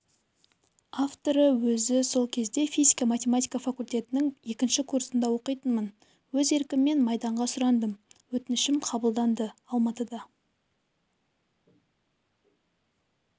авторы өзі ол кезде физика-математика факультетінің екінші курсында оқитынмын өз еркіммен майданға сұрандым өтінішім қабылданды алматыда